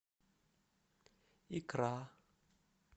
икра